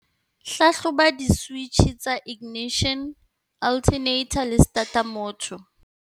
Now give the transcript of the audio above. Hlahloba di-switjhe tsa ignition, alternator le starter motor.